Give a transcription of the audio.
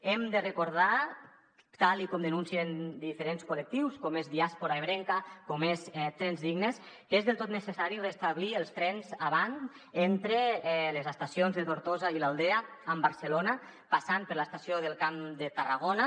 hem de recordar tal com denuncien diferents col·lectius com diàspora ebrenca com trens dignes que és del tot necessari restablir els trens avant entre les estacions de tortosa i l’aldea amb barcelona passant per l’estació del camp de tarragona